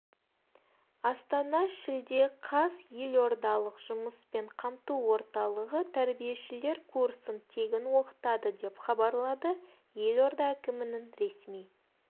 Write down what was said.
астана шілде қаз елордалық жұмыспен қамту орталығы тәрбиешілер курсын тегін оқытады деп хабарлады елорда әкімінің ресми